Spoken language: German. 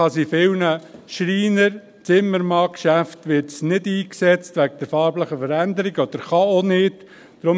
In vielen Schreiner- und Zimmermannsgeschäften wird es wegen der farblichen Veränderung nicht eingesetzt oder kann auch nicht eingesetzt werden.